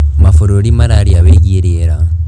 Mabũrũri mararia wĩgiĩ rĩera.